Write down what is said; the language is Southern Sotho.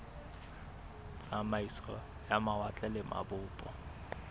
tsamaiso ya mawatle le mabopo